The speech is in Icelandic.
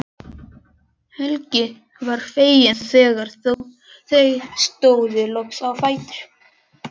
Helgi var feginn þegar þau stóðu loks á fætur.